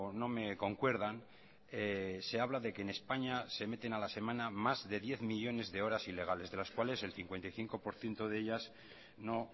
no me concuerdan se habla de que en españa se meten a la semana más de diez millónes de horas ilegales de las cuales el cincuenta y cinco por ciento de ellas no